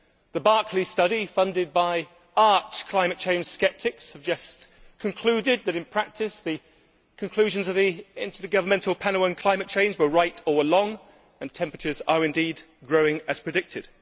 The Barclay study, funded by arch climate change sceptics, has just concluded that in practice the conclusions of the Intergovernmental Panel on Climate Change were right all along and temperatures are indeed growing as predicted.